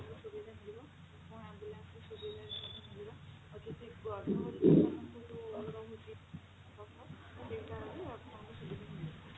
ସେତେବେଳେ ସୁବିଧା ମିଳିବ ଏବଂ ambulance ର ସୁବିଧା ମିଳିବ ଆଉ ଯଦି ଗର୍ଭବତ୍ତୀ ମାନଙ୍କୁ ଯୋଊ ରହୁଛି ଆପଣଙ୍କୁ ସୁବିଧା ମିଳିବ